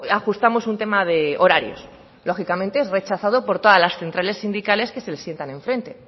ajustamos un tema de horarios lógicamente es rechazado por todas las centrales sindicales que se le sientan en frente